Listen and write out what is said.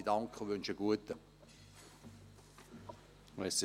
Ich danke und wünsche einen guten Appetit.